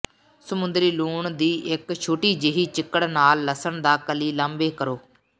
ਸਮੁੰਦਰੀ ਲੂਣ ਦੀ ਇੱਕ ਛੋਟੀ ਜਿਹੀ ਚਿੱਕੜ ਨਾਲ ਲਸਣ ਦਾ ਕਲੀ ਲਾਂਭੇ ਕਰੋ